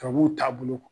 Tubabuw taabolo